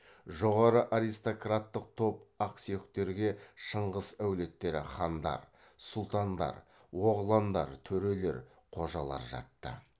жоғары аристократтық топ ақсүйектерге шыңғыс әулеттері хандар сұлтандар оғландар төрелер қожалар жатты